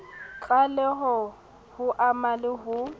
tlaleho ho ama le ho